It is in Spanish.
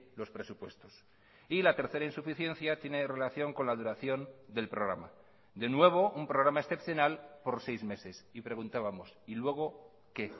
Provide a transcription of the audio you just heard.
los presupuestos y la tercera insuficiencia tiene relación con la duración del programa de nuevo un programa excepcional por seis meses y preguntábamos y luego qué